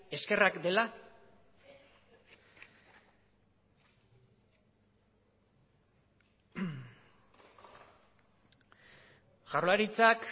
eskerrak dela jaurlaritzak